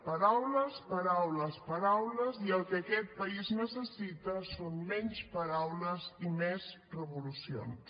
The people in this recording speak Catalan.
paraules paraules paraules i el que aquest país necessita són menys paraules i més revolucions